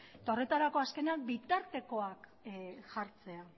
eta horretarako azkenean bitartekoak jartzea